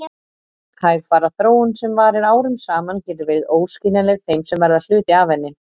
Hægfara þróun sem varir árum saman getur verið óskiljanleg þeim sem verða hluti af henni.